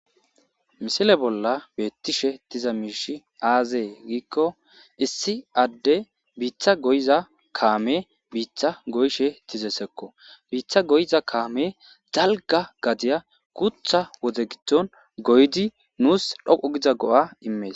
Misile bollan betishe diza mishe azegiko issi adey bitta goyiza kame bitta goyishe dizaysako bitta goyiza kame daliga gadey gutha wode gidon goyidi nus dhoqu giza go'a imes